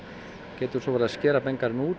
getum svo verið að skera